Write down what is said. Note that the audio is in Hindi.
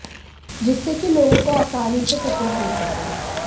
जिसके कि लोगों को आसानी से टिकट मिल सके